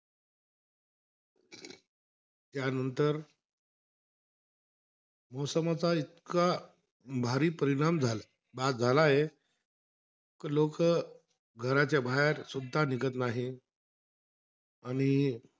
त्यांनतर मौसमाचा इतका भारी परिणाम झा झाला आहे. त लोक घराच्या बाहेरसुद्धा निघत नाही आणि